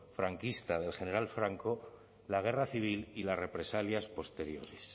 franquista del general franco la guerra civil y las represalias posteriores